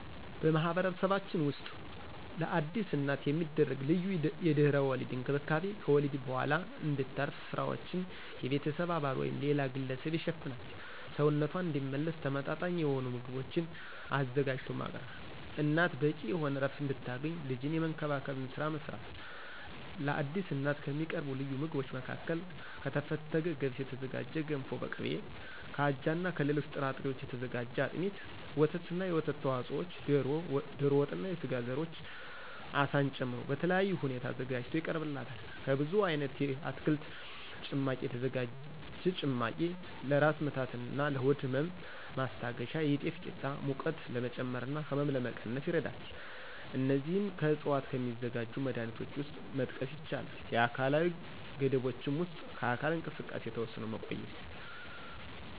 በማህበረሰባችን ውስጥ ለአዲስ እናት የሚደረግ ልዩ የድህረ ወሊድ እንክብካቤ ከወሊድ በኋላ እንድታርፍ ስራዎችን የቤተሰብ አባል ወይም ሌላ ግለሰብ ይሸፍናል፣ ሰውነቷ እንዲመለስ ተመመጣጣኝ የሆኑ ምግቦችን አዘጋጅቶ ማቅረብ፣ እናት በቂ የሆነ ዕረፍት እንድታገኝ ልጅን የመንከባከብን ስራ መስራት። ለአዲስ እናት ከሚቀርቡ ልዩ ምግቦች መካከል ከተፈተገ ገብስ የተዘጋጀ ገንፎ በቅቤ፣ ከአጃና ከሌሎች ጥራጥሬዎች የተዘጋጀ አጥሚት፣ ወተትና የወተት ተዋጽኦዎች፣ ዶሮ ወጥና የስጋ ዘሮች አሳን ጨምሮ በልዩ ሁኔታ ተዘጋጅቶ ይቀርብላታል። ከብዙ አይነት የአትክልት ጭማቂ የተዘጋጀ ጭማቂ ለራስ ምታትና ለሆድ ህመም ማስታገሻ፣ የጤፍ ቂጣ ሙቀት ለመጨመርና ህመም ለመቀነስ ይረዳል። እነዚህም ከዕፅዋት ከሚዘጋጁ መድሀኒቶች ውስጥ መጥቀስ ይቻላል። የአካላዊ ገደቦችም ውስጥ ከአካል እንቅስቃሴ ተወስኖ መቆየት።